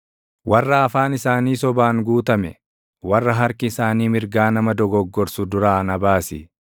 warra afaan isaanii sobaan guutame, warra harki isaanii mirgaa nama dogoggorsu duraa na baasi.